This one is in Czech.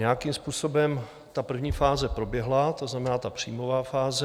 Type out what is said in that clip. Nějakým způsobem ta první fáze proběhla, to znamená ta příjmová fáze.